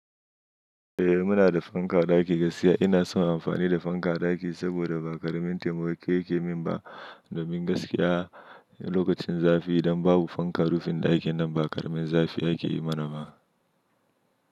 Eh muna da fanka a ɗaki, gaskiya ina son amfani da fanka a ɗaki saboda ba ƙaramin taimako yake min ba, domin gaskiya lokacin zafi idan babu fankar rufin ɗakin nan ba ƙaramin zafi ake yi mana ba.